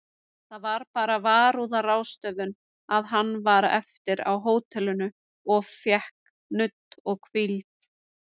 Það var bara varúðarráðstöfun að hann var eftir á hótelinu of fékk nudd og hvíld.